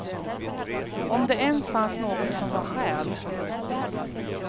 Om det ens fanns något som var själ.